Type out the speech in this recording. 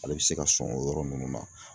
Ale bɛ se ka sɔn o yɔrɔ ninnu na